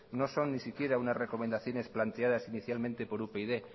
no son ni siquiera unas recomendaciones planteadas inicialmente por upyd